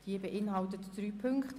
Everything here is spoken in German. Diese beinhaltet drei Ziffern.